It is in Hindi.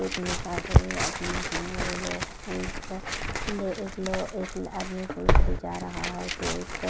इतने सारे आदमी हैं वो लोग फूल्स ले एक लो एक आदमी ले जा रहा है तो एक--